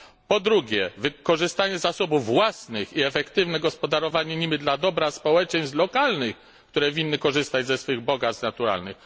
Po drugie, wykorzystanie zasobów własnych i efektywne gospodarowanie nimi dla dobra społeczeństw lokalnych, które winny korzystać ze swych bogactw naturalnych.